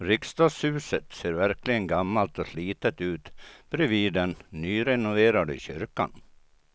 Riksdagshuset ser verkligen gammalt och slitet ut bredvid den nyrenoverade kyrkan.